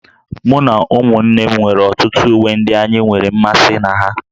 Mụ na ụmụ m nwere ọtụtụ uwe ndị anyị nwere mmasị na ha